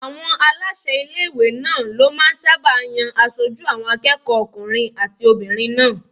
Àwọn aláṣẹ ilé-ìwé náà ló máà ń sáábà yan aṣojú àwọn akẹ́kọ̀ọ́ okùnrin àti obìnrin náà